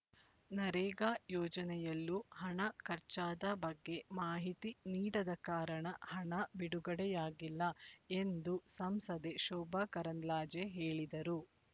ನರೇಗಾ ಯೋಜನೆಯಲ್ಲೂ ಹಣ ಖರ್ಚಾದ ಬಗ್ಗೆ ಮಾಹಿತಿ ನೀಡದ ಕಾರಣ ಹಣ ಬಿಡುಗಡೆಯಾಗಿಲ್ಲ ಎಂದು ಸಂಸದೆ ಶೋಭಕರಂದ್ಲಾಜೆ ಹೇಳಿದರು